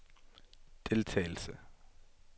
deltagelse